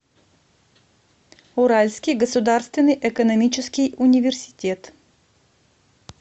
уральский государственный экономический университет